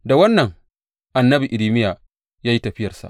Da wannan, annabi Irmiya ya yi tafiyarsa.